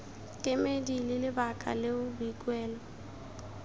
kemedi ke lebaka leo boikuelo